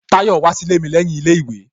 Tayọ wá sí ilé mi lẹ́yìn ilé ìwé